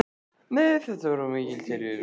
Nei, þetta var of mikil tilviljun.